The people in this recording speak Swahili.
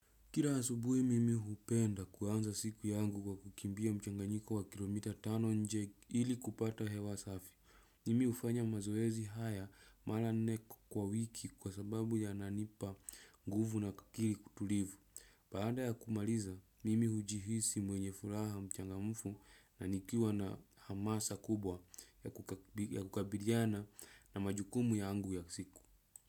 Kila asubuhi mimi hupenda kuanza siku yangu kwa kukimbia mchanganyiko wa kilo mita tano nje ili kupata hewa safi. Mimi hufanya mazoezi haya mara nne kwa wiki kwa sababu yananipa nguvu na akili tulivu. Baada ya kumaliza, mimi hujihisi mwenye furaha mchangamfu na nikiwa na hamasa kubwa ya kukabiliana na majukumu yangu ya siku.